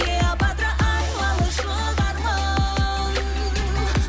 клеопатра айлалы шұбармын